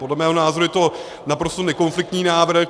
Podle mého názoru je to naprosto nekonfliktní návrh.